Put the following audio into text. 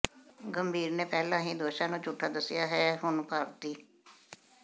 ਗੰਭੀਰ ਨੇ ਪਹਿਲਾਂ ਹੀ ਦੋਸ਼ਾਂ ਨੂੰ ਝੂਠਾ ਦੱਸਿਆ ਹੈ ਤੇ ਹੁਣ ਭਾਰਤੀ